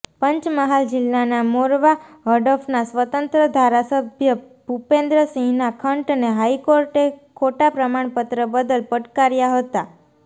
પંચમહાલ જિલ્લાના મોરવા હડફના સ્વતંત્ર ધારાસભ્ય ભુપેન્દ્રસિંહના ખંટને હાઈકોર્ટે ખોટા પ્રમાણપત્ર બદલ પડકાર્યા હતા